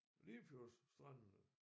Limfjordsstrandene